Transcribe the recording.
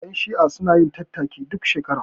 Ƴan shi'a sunayin tattaki duk shekara